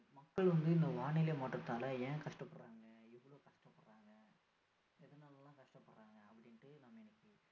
மக்கள் வந்து இந்த வானிலை மாற்றத்தால ஏன் கஷ்டப்படுறாங்க எவ்வளோ கஷ்ட படுறாங்க எதனாலலெலாம் கஷ்ட படுறாங்க அப்படின்னு நம்ம இன்னைக்கு